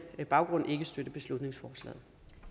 baggrund ikke støtte beslutningsforslaget